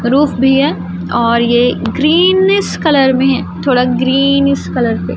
roof भी है और ये ग्रीनस कलर मे है थोड़ा ग्रीनस कलर